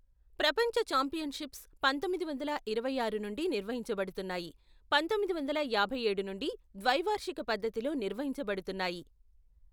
ప్రపంచ ఛాంపియన్షిప్స్ పంతొమ్మిది వందల ఇరవై ఆరు నుండి నిర్వహించబడుతున్నాయి, పంతొమ్మిది వందల యాభై ఏడు నుండి ద్వైవార్షిక పద్ధతిలో నిర్వహించబడుతున్నాయి.